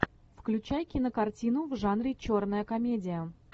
включай кинокартину в жанре черная комедия